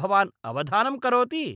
भवान् अवधानं करोति?